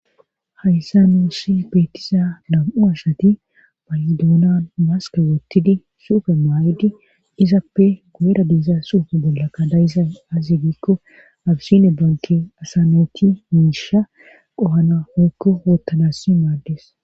hayssa nuussi beetiza dam7u asati baydoonan maske wottidi suufe maayidi izappe goera diiza suufe bolla ka dayizay azi giikko abisine banke asanoti miisha qohana hoykko wottanassi maaddes